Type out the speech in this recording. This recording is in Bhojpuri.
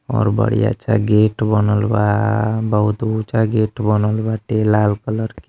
और बड़ी अच्छा गेट बनल बाटे। बहुत ऊचा गेट वनल बाटे। लात कलर के।